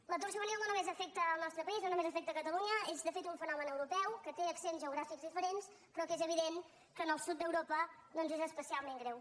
l’atur juvenil no només afecta el nostre país no només afecta catalunya és de fet un fenomen europeu que té accents geogràfics diferents però que és evident que en el sud d’europa doncs és especialment greu